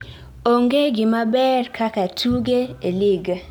onge gimaber kaka tuge e lig